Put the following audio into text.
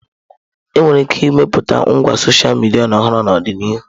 Enwere ike ịmepụta ngwa sọsha midia ọhụrụ n'ọdịnihu.